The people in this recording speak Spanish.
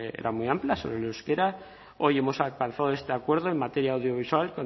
sobre era muy amplia sobre el euskera hoy hemos alcanzado este acuerdo en materia audiovisual